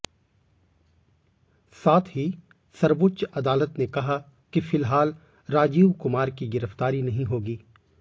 साथ ही सर्वोच्च अदालत ने कहा कि फिलहाल राजीव कुमार की गिरफ्तारी नहीं होगी